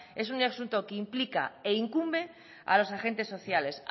es un asunto que implica e incumbe a los agentes sociales